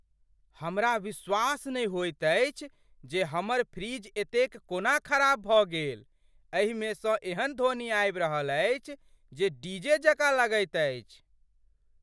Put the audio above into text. हमरा विश्वास नहि होइत अछि जे हमर फ्रिज एतेक कोना ख़राब भऽ गेल, एहिमेसँ एहन ध्वनि आबि रहल अछि जे डीजे जकाँ लगैत अछि।